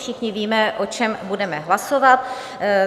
Všichni víme, o čem budeme hlasovat.